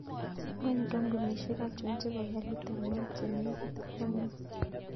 Wany kampunishek achon chebo garit ab maat chenekit ak konyun